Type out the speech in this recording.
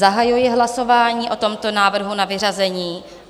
Zahajuji hlasování o tomto návrhu na vyřazení.